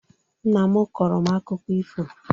Nna m kọrọ m akụkọ ifo.